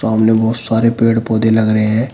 सामने बहोत सारे पेड़ पौधे लग रहे हैं।